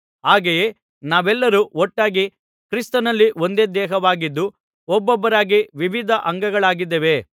ಹಾಗೆಯೇ ನಾವೆಲ್ಲರೂ ಒಟ್ಟಾಗಿ ಕ್ರಿಸ್ತನಲ್ಲಿ ಒಂದೇ ದೇಹವಾಗಿದ್ದು ಒಬ್ಬೊಬ್ಬರಾಗಿ ವಿವಿಧ ಅಂಗಗಳಾಗಿದ್ದೇವೆ